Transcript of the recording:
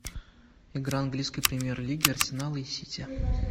игра английской премьер лиги арсенала и сити